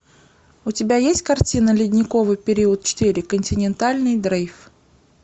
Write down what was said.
у тебя есть картина ледниковый период четыре континентальный дрейф